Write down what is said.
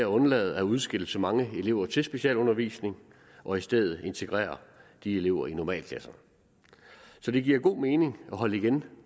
undlader at udskille så mange elever til specialundervisning og i stedet integrerer de elever i normalklasserne så det giver god mening at holde igen